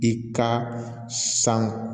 I ka san